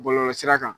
Bɔlɔlɔsira kan